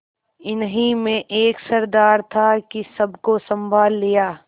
इन्हीं में एक सरदार था कि सबको सँभाल लिया